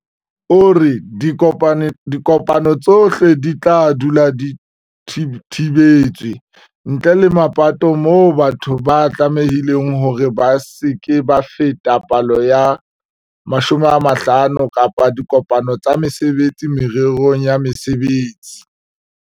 O re, "Dikopano tsohle di tla dula di thibetswe, ntle le mapatong moo batho ba tlamehileng hore ba se ke ba feta palo ya 50 kapa dikopano tsa mesebetsi mererong ya mosebetsi."